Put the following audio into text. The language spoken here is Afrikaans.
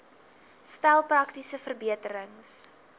stel praktiese verbeterings